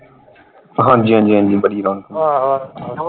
ਹਾਂਜੀ ਹਾਂਜੀ ਹਾਂਜੀ ਬੜੀ ਰੌਣਕ ਹੁੰਦੀ